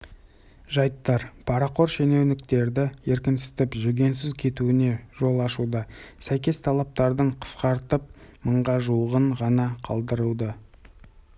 оның мыңнан астамы кәсіпкерлерге қойылатын талаптар болып отыр бұның бәрін орындау мүмкін емес яғни бұл